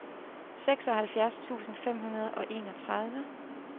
seksoghalvfjerds tusind fem hundrede og enogtredive